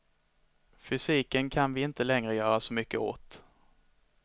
Fysiken kan vi inte längre göra så mycket åt.